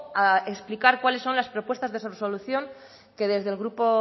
a explicar cuáles son las propuestas de solución que desde el grupo